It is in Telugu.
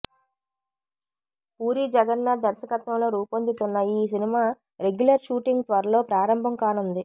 పూరి జగన్నాధ్ దర్శకత్వంలో రూపొందుతున్న ఈ సినిమా రెగ్యులర్ షూటింగ్ త్వరలో ప్రారంభం కానుంది